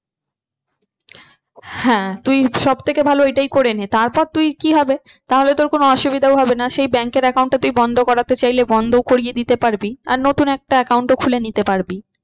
হ্যাঁ তুই সব থেকে ভালো ওইটাই করেনে তারপর তুই কি হবে তাহলে তোর কোনো অসুবিধাও হবে না সেই bank এর account টা তুই বন্ধ করাতে চাইলে বন্ধ করিয়ে দিতে পারবি। আর নতুন একটা account ও খুলে নিতে পারবি।